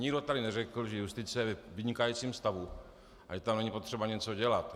Nikdo tady neřekl, že justice je ve vynikajícím stavu a že tam není potřeba něco dělat.